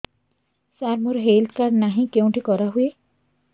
ସାର ମୋର health card ନାହିଁ କେଉଁଠି କରା ହୁଏ